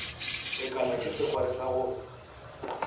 kekana ke sekgwari sa go